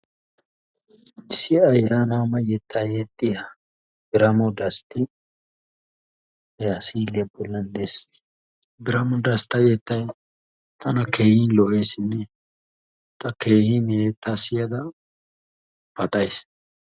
Issi ayyanama yetta yexxiya Biramo Dastti ha si'iliya bollan dees, Biramo dastta yettay tana keehippe lo''eesinne ta keehi a yetta siyada paxays.